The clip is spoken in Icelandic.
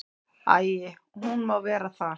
Æi, hún má vera þar.